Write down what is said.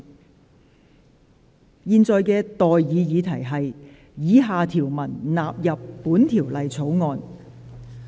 我現在向各位提出的待議議題是：以下條文納入本條例草案。